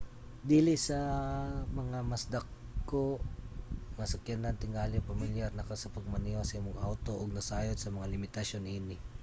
dili sama sa mga mas dako nga sakyanan tingali pamilyar na ka sa pagmaneho sa imong awto ug nasayod sa mga limitasyon niini